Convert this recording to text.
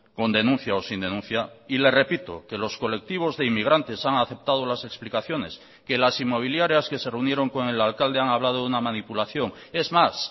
con denuncia o sin denuncia y le repito que los colectivos de inmigrantes han aceptado las explicaciones que las inmobiliarias que se reunieron con el alcalde han hablado de una manipulación es más